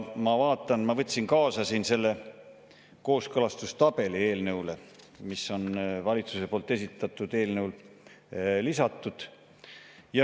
Ma võtsin kaasa eelnõu kooskõlastustabeli, mis on valitsuse esitatud eelnõule lisatud.